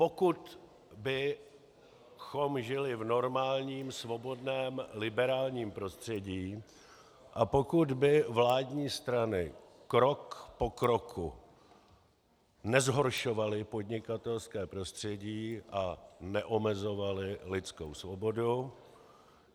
Pokud bychom žili v normálním svobodném liberálním prostředí a pokud by vládní strany krok po kroku nezhoršovaly podnikatelské prostředí a neomezovaly lidskou svobodu.